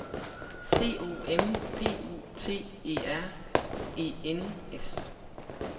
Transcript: C O M P U T E R E N S